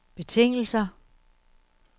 betingelser